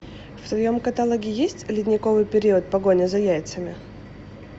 в твоем каталоге есть ледниковый период погоня за яйцами